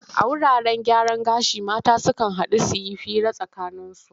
A wuraten gyaran gashi mata sukan haɗu su yi hira a tsakaninsu.